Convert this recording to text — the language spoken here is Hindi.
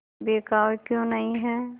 बिकाऊ क्यों नहीं है